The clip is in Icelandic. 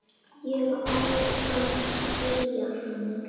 Ég á að skilja hana.